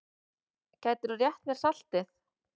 Gætirðu rétt mér saltið?